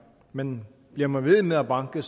men bliver man ved med at banke